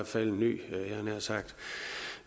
fald en ny